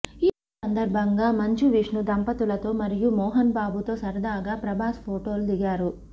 ఈ సందర్భంగా మంచు విష్ణు దంపతులతో మరియు మోహన్ బాబుతో సరదాగా ప్రభాస్ ఫొటోలు దిగారు